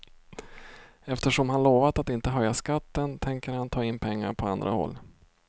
Eftersom han lovat att inte höja skatten, tänker han ta in pengar på andra håll.